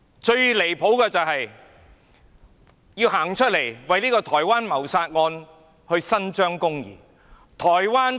最離譜的是，官員站出來為一宗台灣謀殺案伸張公義。